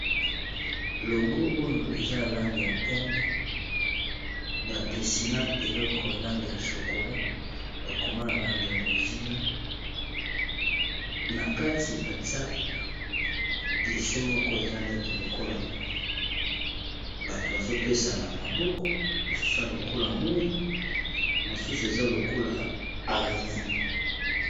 Logo oyo ezana langi ya pembe badessiner eleko ya langi ya chokola bakoma na langi ya bozinga na kati batia dessin moko eza nete lokola bato bazopesana maboko mosusu ya lokola moyi mosusu eza lokola a régné.